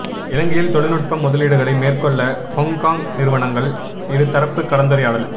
இலங்கையில் தொழில்நுட்ப முதலீடுகளை மேற்கொள்ள ஹொங்கொங் நிறுவனங்கள் இரு தரப்பு கலந்துரையாடல்